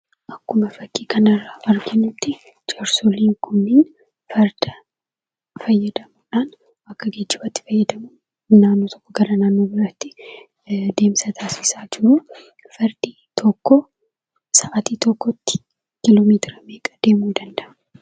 Akkuma fakkii kanarraa arginuttii jaarsolii kunniin farda fayyadamuudhaan , akka geejjibaatti fayyadamuudhaan naannoo tokkoo gara naannoo biraatti deemsa taasisaa jiruu, fardi tokko sa'aatii tokkotti kiiloomeetira meeqa deemuu danda'a?